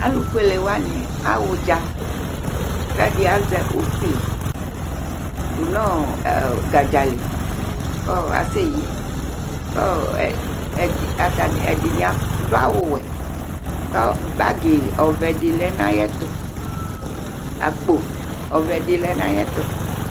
Alufʋelewani aɣa ʋdza Ɛɖi azɛ ʋkpi ŋu gadzali kʋ asɛyi Ɛɖìní aɖu awu wɛ kʋ akpo ɔvɛ ɖi lɛ ŋu ayɛtʋ